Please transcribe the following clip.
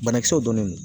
Banakisɛw donnen don